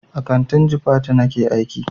A kantin jifatu nake aiki.